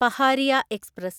Pahariya express